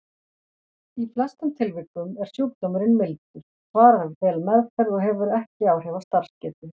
Í flestum tilvikum er sjúkdómurinn mildur, svarar vel meðferð og hefur ekki áhrif á starfsgetu.